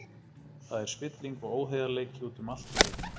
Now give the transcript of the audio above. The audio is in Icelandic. Það er spilling og óheiðarleiki út um allt í leiknum.